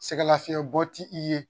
Sɛgɛlafiɲɛ bɔ ti i ye